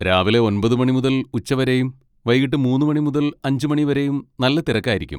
രാവിലെ ഒൻപത് മണി മുതൽ ഉച്ച വരേം വൈകീട്ട് മൂന്ന് മണി മുതൽ അഞ്ച് മണി വരേം നല്ല തിരക്കായിരിക്കും.